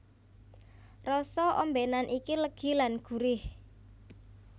Rasa ombènan iki legi lan gurih